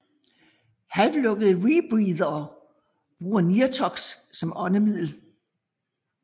Halvlukkede rebreathere bruger nirtox som åndemiddel